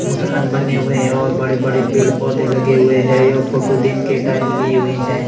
मकान बने हुए हैं और बड़े बड़े पेड़ पौधे लगे हुए हैं यह फोटो दिन के टाइम ली हुई है।